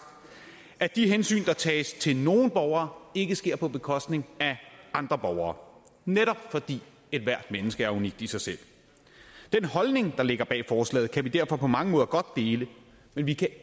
at de hensyn der tages til nogle borgere ikke sker på bekostning af andre borgere netop fordi ethvert menneske er unikt i sig selv den holdning der ligger bag forslaget kan vi derfor på mange måder godt dele men vi kan